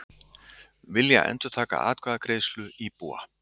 Vilja endurtaka atkvæðagreiðslu íbúa